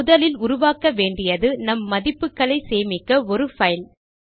முதலில் உருவாக்க வேண்டியது நம் மதிப்புகளை சேமிக்க ஒரு பைல்